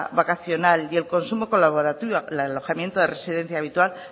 vacacional y el consumo colaborativo el alojamiento de residencia habitual